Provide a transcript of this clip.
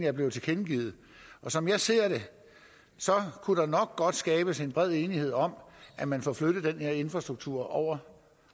er blevet tilkendegivet som jeg ser det kunne der nok godt skabes en bred enighed om at man får flyttet den her infrastruktur over